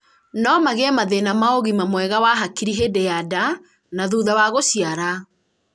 no magĩé mathĩna ma ũgima mwega wa hakiri hĩndĩ ya nda na thutha wa gũciara